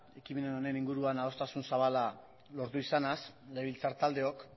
ekimen honen inguruan adostasun zabala lortu izanaz legebiltzartaldeok